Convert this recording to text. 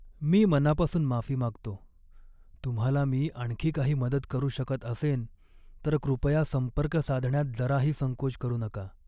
मी मनापासून माफी मागतो! तुम्हाला मी आणखी काही मदत करू शकत असेन तर कृपया संपर्क साधण्यात जराही संकोच करू नका.